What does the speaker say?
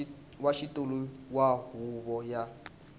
wa xitulu wa huvo ya